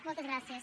moltes gràcies